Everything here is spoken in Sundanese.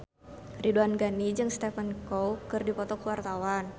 Ridwan Ghani jeung Stephen Chow keur dipoto ku wartawan